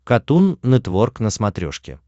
катун нетворк на смотрешке